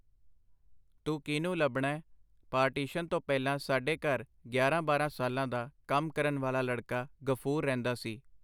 ਤੂੰ ਕੀਹਨੂੰ ਲੱਭਣੈ? ਪਾਰਟੀਸ਼ਨ ਤੋਂ ਪਹਿਲਾਂ ਸਾਡੇ ਘਰ ਗਿਆਰਾਂ-ਬਾਰਾਂ ਸਾਲਾਂ ਦਾ ਕੰਮ ਕਰਨ ਵਾਲਾ ਲੜਕਾ ਗ਼ਫੂਰ ਰਹਿੰਦਾ ਸੀ.